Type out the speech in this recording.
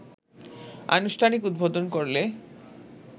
আনুষ্ঠানিক উদ্বোধন করলে